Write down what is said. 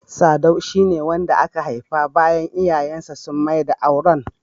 .Sadau shi ne wanda aka haifa bayan iyayen sa sun maida auren.